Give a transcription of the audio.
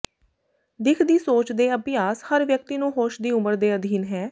ਦਿੱਖ ਦੀ ਸੋਚ ਦੇ ਅਭਿਆਸ ਹਰ ਵਿਅਕਤੀ ਨੂੰ ਹੋਸ਼ ਦੀ ਉਮਰ ਦੇ ਅਧੀਨ ਹੈ